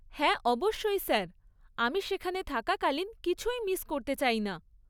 হ্যাঁ, অবশ্যই স্যার, আমি সেখানে থাকাকালিন কিছুই মিস করতে চাইনা।